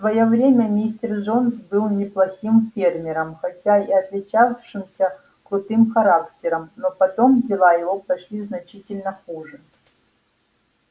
в своё время мистер джонс был неплохим фермером хотя и отличавшимся крутым характером но потом дела его пошли значительно хуже